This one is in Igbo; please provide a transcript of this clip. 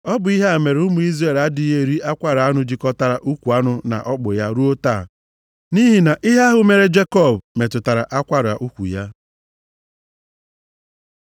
Ọ bụ ihe a mere ụmụ Izrel adịghị eri akwara anụ jikọtara ukwu anụ na ọkpụ ya ruo taa. Nʼihi na ihe ahụ mere Jekọb metụtara akwara ukwu ya.